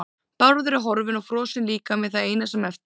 Bárður er horfinn og frosinn líkami það eina sem eftir er.